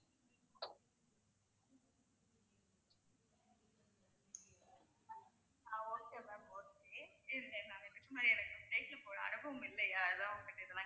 ஆஹ் okay ma'am okay இருங்க நான் இதுக்கு முன்னாடி எனக்கு flight போன அனுபவம் இல்லையா அதான் உங்க கிட்ட இதெல்லாம்